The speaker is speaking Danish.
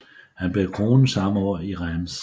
Han blev kronet samme år i Reims